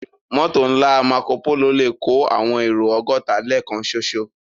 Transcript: Mòtó nlá Mákópóló lè kó áwòn éró ògòtá lèkán ṣóṣó